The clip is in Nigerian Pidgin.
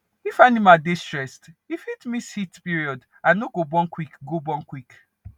if animal dey stressed e fit miss heat period and no go born quick go born quick